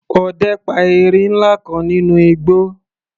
Ọdẹ pa erin ńlá kan nínú igbó.